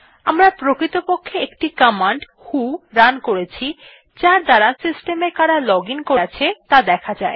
আমরা প্রকৃতপক্ষে একটি কমান্ড ভো রান করেছি যার দ্বারা সিস্টেম এ কারা লগ আইএন করে আছে ত়া দেখা যায়